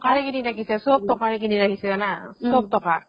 টকাৰে কিনি ৰাখিছে চব টকাৰে কিনি ৰাখিছে জানা চব টকা